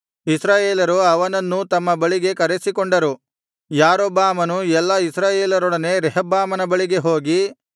ಇಸ್ರಾಯೇಲರು ಅವನನ್ನೂ ತಮ್ಮ ಬಳಿಗೆ ಕರೆಸಿಕೊಂಡರು ಯಾರೊಬ್ಬಾಮನು ಎಲ್ಲಾ ಇಸ್ರಾಯೇಲರೊಡನೆ ರೆಹಬ್ಬಾಮನ ಬಳಿಗೆ ಹೋಗಿ